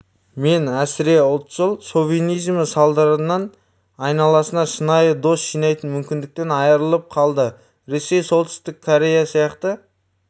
мен әсіреұлтшыл шовинизмі салдарынан айналасына шынайы дос жинайтын мүмкіндіктен айырылып қалды ресей солтүстік корея сияқты